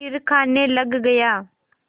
फिर खाने लग गया